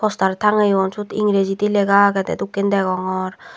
star tageyun seyot egeyriji lega agey dey dokkey guri degongor.